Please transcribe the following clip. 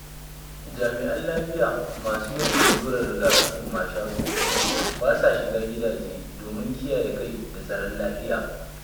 Jami'an Lafiya masu yin allurar riga-kafin mashaƙo, ba sa shiga gidaje, domin kiyaye kai da tsaron lafiya.